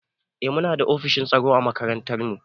Eh muna da ofishin tsaro a makarantar mu.